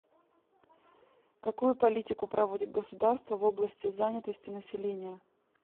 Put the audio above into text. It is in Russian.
какую политику проводит государство в области занятости населения